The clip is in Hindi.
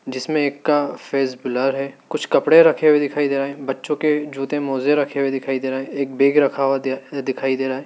जिसमें एक का फेस ब्लर है कुछ कपड़े रखे हुए दिखाई दे रहे हैं बच्चों के जूते मोज़े रखे हुए दिखाई दे रहे हैं एक बैग रखा हुआ दे दिखाई दे रहा है।